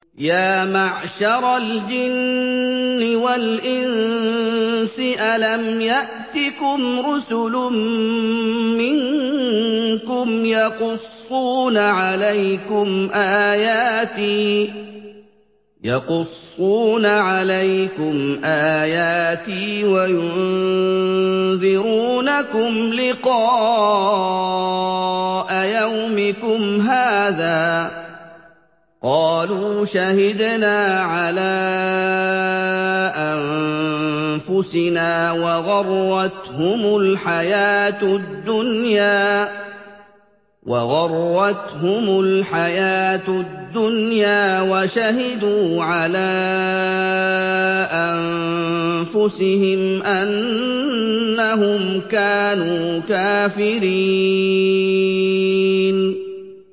يَا مَعْشَرَ الْجِنِّ وَالْإِنسِ أَلَمْ يَأْتِكُمْ رُسُلٌ مِّنكُمْ يَقُصُّونَ عَلَيْكُمْ آيَاتِي وَيُنذِرُونَكُمْ لِقَاءَ يَوْمِكُمْ هَٰذَا ۚ قَالُوا شَهِدْنَا عَلَىٰ أَنفُسِنَا ۖ وَغَرَّتْهُمُ الْحَيَاةُ الدُّنْيَا وَشَهِدُوا عَلَىٰ أَنفُسِهِمْ أَنَّهُمْ كَانُوا كَافِرِينَ